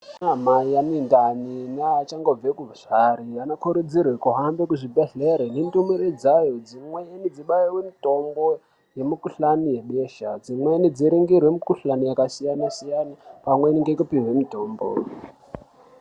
Anamai anendani neachangozvare anokurudzirwe kuhambe kuzvibhedhlere nendumure dzayo. Dzimweni dzibaiwe mitombo yemikuhlani yebesha. Dzimweni dziringirwe mikuhlani yakasiyana-siyana pamweni ngekupihwe mitombo.